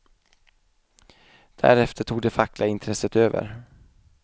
Därefter tog det fackliga intresset över.